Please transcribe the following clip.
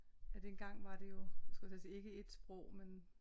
At engang var det jo skulle jeg til at sige ikke et sprog men